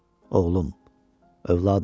Oğlum, övladım.